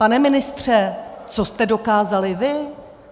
Pane ministře, co jste dokázali vy?